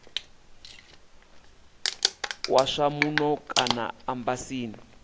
wa zwa muno kana embasini